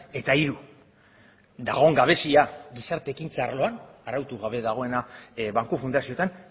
eta hiru dagoen gabezia gizarte ekintza arloan arautu gabe dagoena banku fundazioetan